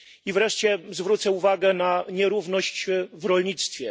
Wreszcie zwrócę uwagę na nierówność w rolnictwie.